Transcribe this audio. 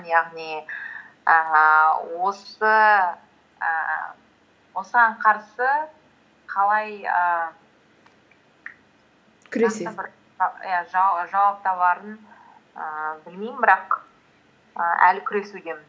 яғни ііі ііі осыған қарсы қалай ііі иә жауап табарын ііі білмеймін бірақ і әлі күресудемін